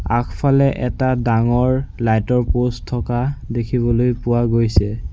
আগফালে এটা ডাঙৰ লাইট ৰ প'ষ্ট থকা দেখিবলৈ পোৱা গৈছে।